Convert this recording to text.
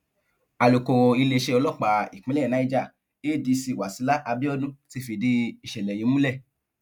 alukoro iléeṣẹ ọlọpàá ìpínlẹ niger adc wasila abiodun ti fìdí ìṣẹlẹ yìí múlẹ